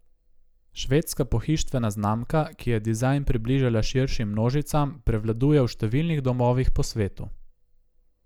Švedska pohištvena znamka, ki je dizajn približala širšim množicam, prevladuje v številnih domovih po svetu.